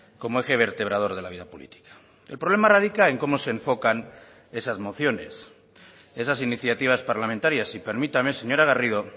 como eje vertebrador de la vida política el problema radica en cómo se enfocan esas mociones esas iniciativas parlamentarias y permítame señora garrido